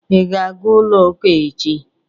Ị ga-aga ụlọ ụka echi?